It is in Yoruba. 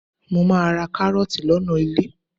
Mo máa ra kárọ́ọ̀tì lọ́nà ilé.